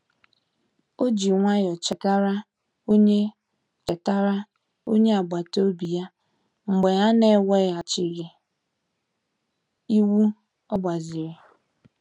O ji nwayọọ chetara onye chetara onye agbata obi ya mgbe a na-eweghachighị ịwụ ogbaziri.